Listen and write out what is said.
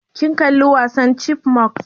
Kin kalla wasan chipmunks?